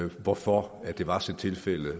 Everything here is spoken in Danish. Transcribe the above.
hvorfor det var tilfældet